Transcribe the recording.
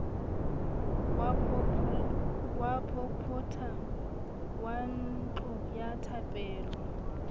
wa popota ngwanantlo ya thapelo